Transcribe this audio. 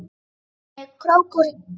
Skoðaði hana í krók og kring.